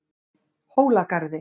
Hólagarði